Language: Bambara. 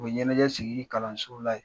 U ye ɲɛnajɛ sigi kalanso la yen.